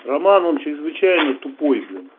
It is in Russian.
роман он чрезвычайно тупой блин